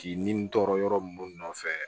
K'i ni n tɔɔrɔ yɔrɔ mun nɔfɛ